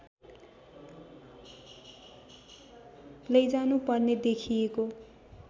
लैजानु पर्ने देखिएको